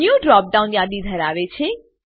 new drop down યાદી ધરાવે છે